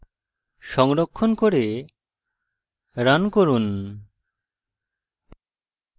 সংরক্ষণ করে run run